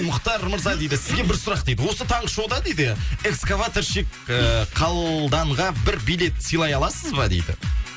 мұхтар мырза дейді сізге бір сұрақ дейді осы таңғы шоуда дейді экскаваторщик ыыы қалданға бір билет сыйлай аласыз ба дейді